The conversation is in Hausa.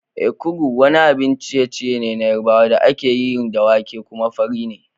Ekuru wani abun ciye-ciye ne na Yarbawa da ake yi da wake, kuma fari ne.